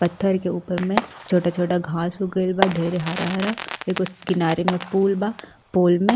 पत्थर के ऊपर में छोटा छोटा घांस उग गईल बा ढेरे हरा हरा एगो किनारे में पूल बा पूल में --